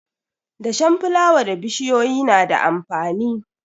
Dashen fulawa da bishiyoyi na da amfani.